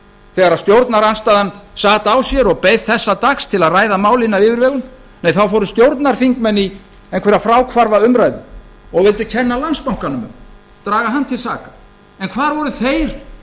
þegar stjórnarandstaðan sat á sér og beið þessa dags til að ræða málin af yfirvegun nei þá fóru stjórnarþingmenn í einhverja fráhvarfsumræðu og vildu kenna landsbankanum um draga hann til saka hvar voru þeir